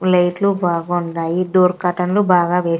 light లు బాగా ఉన్నాయి డోర్ కర్టెన్ లు బాగా వేస్--